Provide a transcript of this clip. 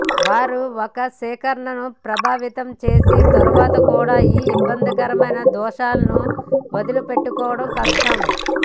వారు ఒక సేకరణను ప్రభావితం చేసిన తర్వాత కూడా ఈ ఇబ్బందికరమైన దోషాలను వదిలించుకోవటం కష్టం